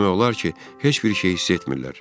Demək olar ki, heç bir şeyi hiss etmirlər.